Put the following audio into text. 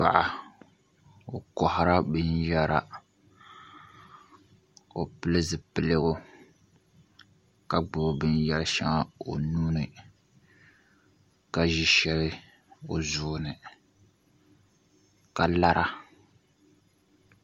Paɣa o koharila binyɛra o pili zipiligu ka gbubi binyɛri shɛŋa o nuuni ka ʒi shɛli o zuɣuni ka lara